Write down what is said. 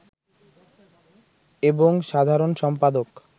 এবং সাধারণ সম্পাদক